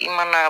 I mana